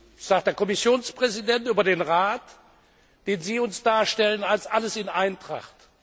Das sagt der Kommissionspräsident über den Rat, den Sie uns darstellen, als sei alles in Eintracht.